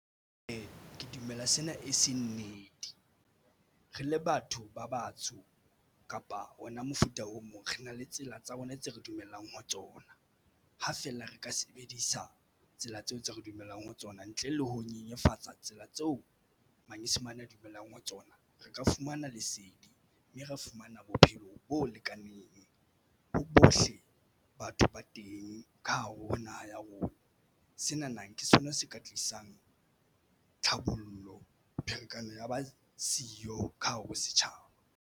Ee, ke dumela sena e seng nnete re le batho ba batsho kapa ona mofuta o mo re na le tsela tsa rona tse re dumellang ho tsona. Ha fela re ka sebedisa tsela tseo tse re dumelang ho tsona ntle le ho nyenyefatsa tsela tseo manyesemane a dumelang ho tsona. Re ka fumana lesedi mme ra fumana bophelo bo lekaneng ho bohle batho ba teng ka hare ho naha ya rona. Sena na ke sona se ka tlisang tlhabollo pherekano ya ba siyo ka hare ho setjhaba.